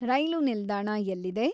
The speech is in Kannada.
ರೈಲೂ ನಿಲ್ದಾಣ ಎಲ್ಲಿದೆ